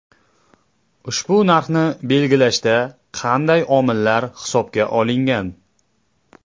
Ushbu narxni belgilashda qanday omillar hisobga olingan?